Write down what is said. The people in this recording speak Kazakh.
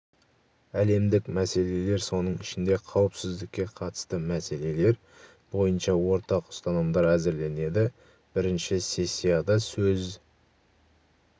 әлемдік мәселелер соның ішінде қауіпсіздікке қатысты мәселелер бойынша ортақ ұстанымдар әзірленеді бірінші сессияда сөз